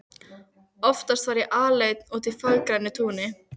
Oftast var ég alein úti á fagurgrænu túni.